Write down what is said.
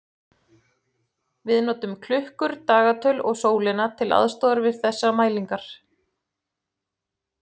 Við notum klukkur, dagatöl og sólina til aðstoðar við þessar mælingar.